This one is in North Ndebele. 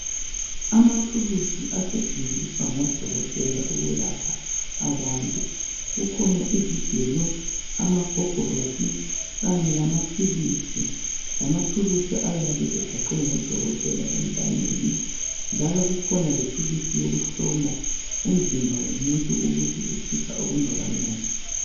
Amathuluzi asetshenziswa ngodokotela ukwelapha abantu kukhona izigelo amagogorosi kanye lamaphilisi lamathuluzi ayabe egaqwe ngodokotela entanyeni njalo kukhona lethuluzi yokuhlola umzimba womuntu ukuthi utshisa okungakanani.